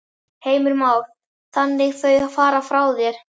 Heimir Már: Þannig þau fara frá þér?